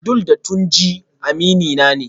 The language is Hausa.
Abdul da Tunji aminina ne